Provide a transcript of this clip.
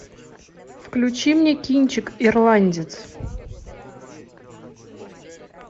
включи мне кинчик ирландец